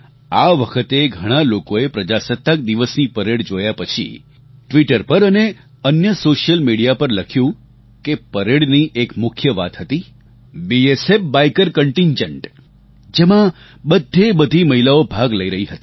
આ વખતે ઘણા લોકોએ પ્રજાસત્તાક દિવસની પરેડ જોયા પછી ટ્વિટર પર અને અન્ય સૉશિયલ મિડિયા પર લખ્યું કે પરેડની એક મુખ્ય વાત હતી બીએસએફ બાઇકર કન્ટિન્જન્ટ જેમાં બધેબધી મહિલાઓ ભાગ લઈ રહી હતી